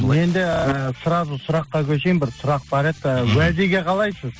менде і сразу сұраққа көшейін бір сұрақ бар еді і уәдеге қалайсыз